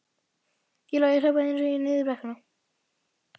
Það lá við að ég hljóðaði upp þegar ég leit niður í brekkuna.